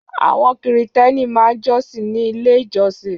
Àwọn Kìrìtẹ́ẹ́nì máa ń jọ́sìn ní Ilé-ìjọsìn.